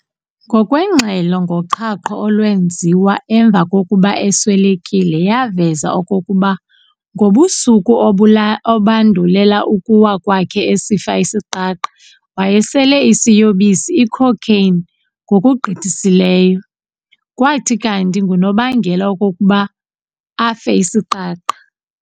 Ngokwengxelo ngoqhaqho olwenziwa emva kokuba eswelekile yaveza okokuba ngobusuku obandulela ukuwa kwakhe esifa isiqaqa wayesele isiyobisi icocaine ngokugqithisileyo, kwathi kanti ngunobangela wokokuba afe isiqaqa.